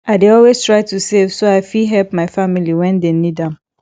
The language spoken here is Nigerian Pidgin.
i dey always try to save so i fit help my family when dem need am